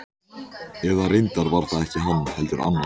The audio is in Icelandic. Eða reyndar var það ekki hann, heldur annar.